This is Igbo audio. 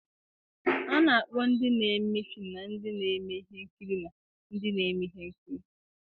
A na-akpọ ndị na-eme fim na ndị na-eme ihe nkiri na ndị na-eme ihe nkiri.